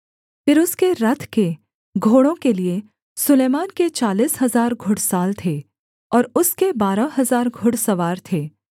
फिर उसके रथ के घोड़ों के लिये सुलैमान के चालीस हजार घुड़साल थे और उसके बारह हजार घुड़सवार थे